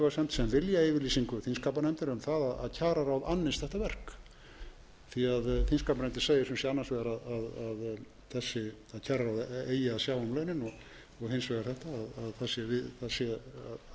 sem viljayfirlýsingu þingskapanefndar um það að kjararáð annist þetta verk því að þingskapanefndin segir sem sé annars vegar að kjararáð eigi að sjá um launin og hins vegar að það sé